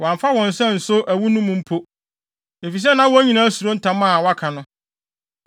Wɔamfa wɔn nsa anso ɛwo no mu mpo, efisɛ na wɔn nyinaa suro ntam a wɔaka no.